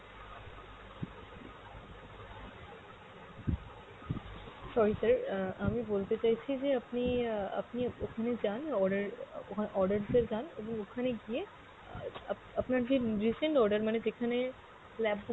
sorry sir, আহ আমি বলতে চাইছি যে আপনি আহ আপনি ওখানে যান order আহ ওখানে orders এ যান, আপনি ওখানে গিয়ে আহ আপ~আপনার যে recent order মানে যেখানে lapbook